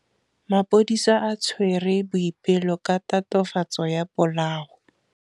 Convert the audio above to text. Maphodisa a tshwere Boipelo ka tatofatsô ya polaô.